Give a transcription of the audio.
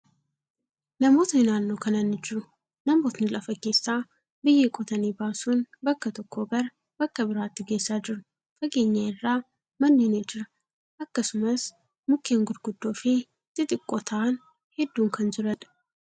Namootni naannoo kana ni jiru. Namootni lafa keessaa biyyee qotanii baasun bakka tokkoo gara bakka biraatti geessaa jiru. Fageenya irraa manni ni jira. Akkasumas, mukkeen gurguddoo fi xixiqqoo ta'an hedduun kan jiraniidha.